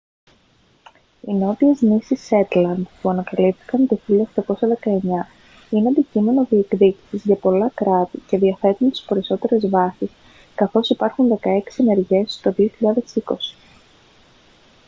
οι νότιες νήσοι σέτλαντ που ανακαλύφθηκαν το 1819 είναι αντικείμενο διεκδίκησης για πολλά κράτη και διαθέτουν τις περισσότερες βάσεις καθώς υπάρχουν δεκαέξι ενεργές το 2020